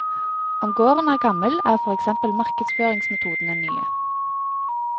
Om gården er gammel, er for eksempel markedsføringsmetodene nye.